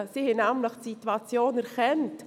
Sie hat die Situation nämlich erkannt.